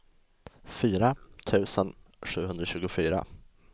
fyra tusen sjuhundratjugofyra